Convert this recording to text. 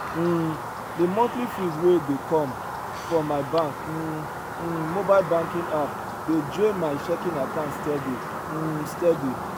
um de monthly fees wey dey come from my bank um um mobile banking app dey drain my checking account steady um steady